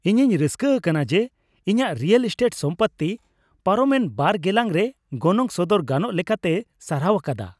ᱤᱧᱤᱧ ᱨᱟᱹᱥᱠᱟᱹ ᱟᱠᱟᱱᱟ ᱡᱮ, ᱤᱧᱟᱹᱜ ᱨᱤᱭᱮᱞ ᱮᱥᱴᱮᱴ ᱥᱚᱢᱯᱚᱛᱛᱤ ᱯᱟᱨᱚᱢᱮᱱ ᱒ ᱜᱮᱞᱟᱝᱨᱮ ᱜᱚᱱᱚᱝ ᱥᱚᱫᱚᱨ ᱜᱟᱱᱚᱜ ᱞᱮᱠᱟᱛᱮᱭ ᱥᱟᱨᱦᱟᱣ ᱟᱠᱟᱫᱟ ᱾